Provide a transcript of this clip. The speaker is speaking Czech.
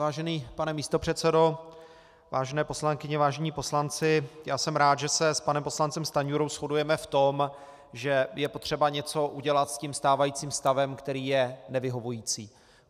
Vážený pane místopředsedo, vážené poslankyně, vážení poslanci, já jsem rád, že se s panem poslancem Stanjurou shodujeme v tom, že je potřeba něco udělat s tím stávajícím stavem, který je nevyhovující.